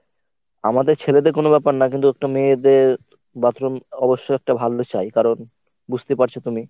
আমাদের ছেলেদের কোন ব্যপার না কিন্তু একটা মেয়েদের bathroom অবশ্যই একটা ভালো চাই কারণ বুঝতে পারছো তুমি।